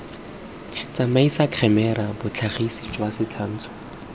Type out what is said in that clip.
tsamaisa khemera botlhagisipele jwa setshwantsho